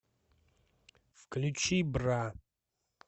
включи бра